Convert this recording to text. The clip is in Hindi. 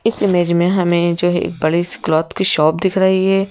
इस इमेज में हमें जो है एक बड़े से क्लॉथ की शॉप दिख रही है।